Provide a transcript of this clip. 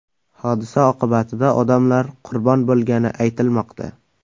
Hodisa oqibatida odamlar qurbon bo‘lgani aytilmoqda.